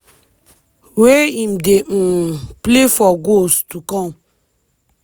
wey im dey um play for goals to come.